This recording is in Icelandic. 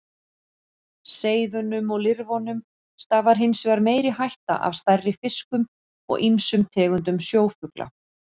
Seiðunum og lirfunum stafar hins vegar meiri hætta af stærri fiskum og ýmsum tegundum sjófugla.